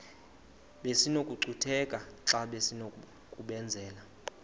besinokucutheka xa besinokubenzela